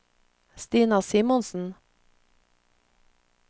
Stina Simonsen